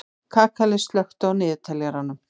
Kakali, slökktu á niðurteljaranum.